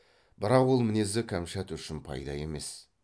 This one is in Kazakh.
бірақ ол мінезі кәмшат үшін пайда емес